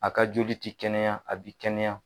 A ka joli ti kɛnɛya a bi kɛnɛya.